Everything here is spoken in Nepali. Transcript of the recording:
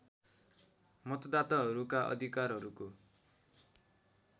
मतदाताहरूका अधिकारहरूको